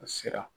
A sera